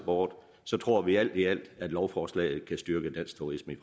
board tror vi alt i alt at lovforslaget kan styrke dansk turisme